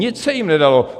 Nic se jim nedalo.